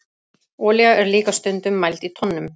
Olía er líka stundum mæld í tonnum.